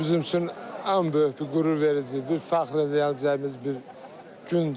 Bu gün bizim üçün ən böyük bir qürurverici, bir fəxr eləyəcəyimiz bir gündür.